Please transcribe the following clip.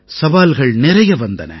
சவால்கள் நிறைய வந்தன